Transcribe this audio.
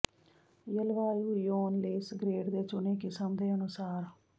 ਜਲਵਾਯੂ ਜ਼ੋਨ ਲੇਸ ਗਰੇਡ ਦੇ ਚੁਣੇ ਕਿਸਮ ਦੇ ਅਨੁਸਾਰ